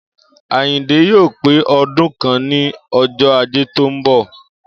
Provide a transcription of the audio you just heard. Àyìndé yóò pé o̩dún kan ní o̩jó̩ Ajé tó ń bò̩